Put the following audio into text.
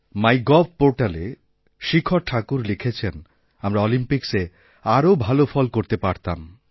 মাইগভপোর্টালে শিখা ঠাকুর লিখেছেন আমরা অলিম্পিক্সে আরও ভাল ফল করতে পারতাম